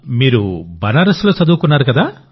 మీరు బనారస్లో చదువుకున్నారు కదా